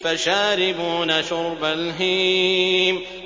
فَشَارِبُونَ شُرْبَ الْهِيمِ